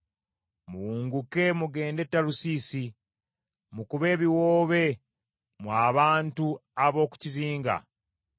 Muwunguke mugende e Talusiisi, mukube ebiwoobe mmwe abantu ab’oku kizinga.